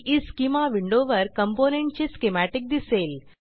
ईस्केमा विंडोवर कॉम्पोनेंट चे स्कीमॅटिक दिसेल